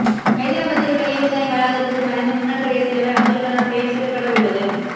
ஐதராபாத்தில் உள்ள ஏவுகணை வளாகத்துக்கு மறைந்த முன்னாள் குடியரசு தலைவர் அப்துல் கலாம் பெயர் சூட்டப்பட உள்ளது